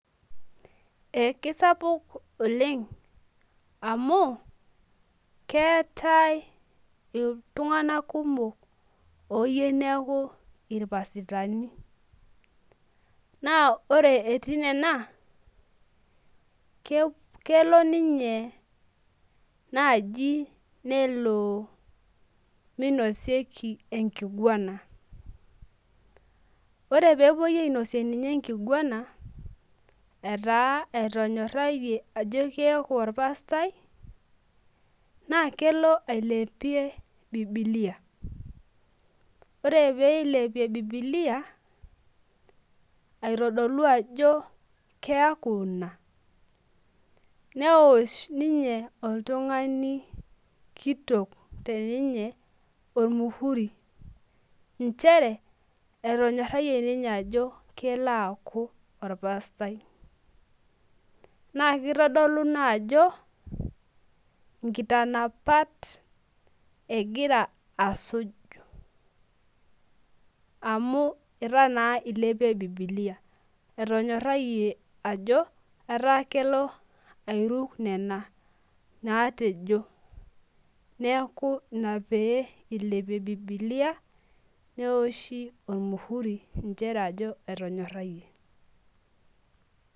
kisapuk oleng amu keetae iltunganak kumok oyieu neeku ilpasitani naa ore etii nena naa kelo ninye minosieki enginguana, ore pee epui ai nosie ninye enginn